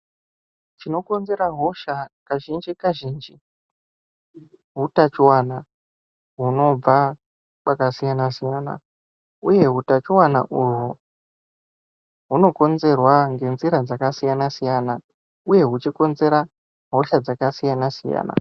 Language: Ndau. Chino konzera hosha kazhinji kazhinji hu tachiwana hunobva kwaka siyana siyana uye hu tachiwana uhu huno konzerwa nge nzira dzaka siyana siyana uye huchi konzera hosha dzaka siyana siyana.